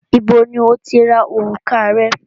Ibo ní o ti ra orùka rẹ?